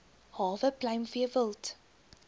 hawe pluimvee wild